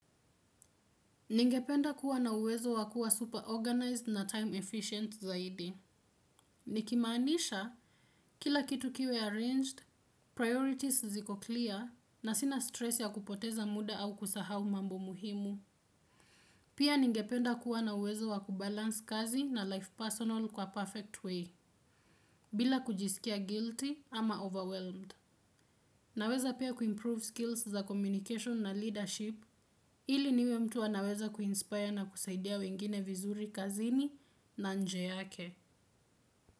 Ningependa kuwa na uwezo wakuwa super organized na time efficient zaidi. Nikimaanisha kila kitu kiwe arranged, priorities ziko clear, na sina stress ya kupoteza muda au kusahau mambo muhimu. Pia ningependa kuwa na uwezo wakubalance kazi na life personal kwa perfect way. Bila kujisikia guilty ama overwhelmed. Naweza pia kuimprove skills za communication na leadership. Ili niwe mtu anaweza kuinspire na kusaidia wengine vizuri kazini na nje yake.